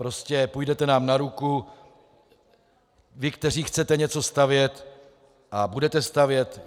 Prostě půjdete nám na ruku vy, kteří chcete něco stavět, a budete stavět.